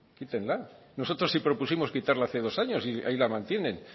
quítenla nosotros si propusimos quitarla hace dos años y ahí la mantienen